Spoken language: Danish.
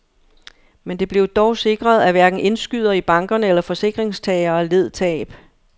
Men det blev dog sikret, at hverken indskydere i bankerne eller forsikringstagere led tab.